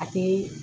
A tɛ